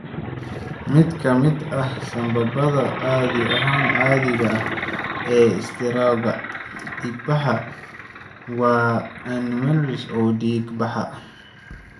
Mid ka mid ah sababaha caadiga ah ee istaroogga dhiigbaxa waa aneurysm oo dhiig baxa.